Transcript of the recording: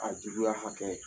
A juguya hakɛ